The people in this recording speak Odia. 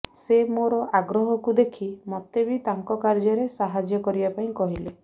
ସେ ମୋର ଆଗ୍ରହକୁ ଦେଖି ମୋତେ ବି ତାଙ୍କ କାର୍ଯ୍ୟରେ ସାହାଯ୍ୟ କରିବା ପାଇଁ କହିଲେ